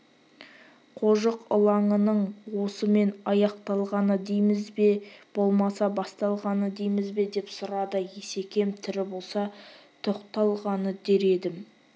қожық ылаңының осымен аяқталғаны дейміз бе болмаса басталғаны дейміз бе деп сұрады есекем тірі болса тоқталғаны дер едім